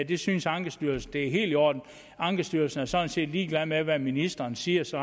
det synes ankestyrelsen er helt i orden ankestyrelsen er sådan set ligeglad med hvad ministeren siger så